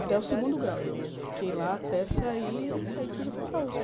Até o segundo grau, eu fiquei lá até sair, aí depois eu fui para a usp.